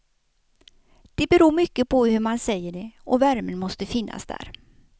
Det beror mycket på hur man säger det och värmen måste finnas där.